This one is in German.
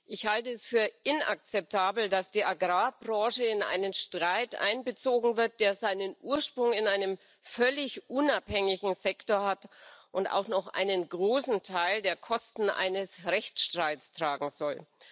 Ich halte es für inakzeptabel, dass die Agrarbranche in einen Streit einbezogen wird, der seinen Ursprung in einem von ihr völlig unabhängigen Sektor hat, und auch noch einen großen Teil der Kosten eines Rechtsstreits tragen soll.